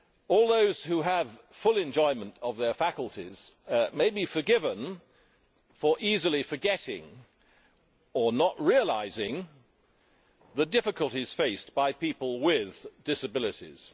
All those who have full enjoyment of their faculties may be forgiven for easily forgetting or not realising the difficulties faced by people with disabilities.